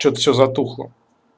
что-то всё затухло